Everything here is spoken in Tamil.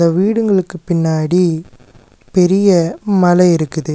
வீடுங்களுக்கு பின்னாடி பெரிய மல இருக்குது.